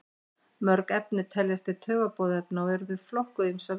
mörg efni teljast til taugaboðefna og eru þau flokkuð á ýmsa vegu